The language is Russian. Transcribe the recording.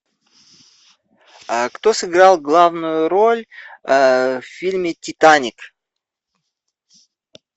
а кто сыграл главную роль в фильме титаник